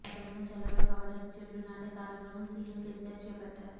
వాతావరణం చల్లగా కావడానికి చెట్లు నాటే కార్యక్రమం సీఎం కేసీఆర్ చేపట్టారు